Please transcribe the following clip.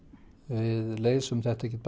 við leysum þetta ekkert